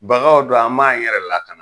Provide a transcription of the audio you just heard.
Bagaw don an b'an yɛrɛ lakana.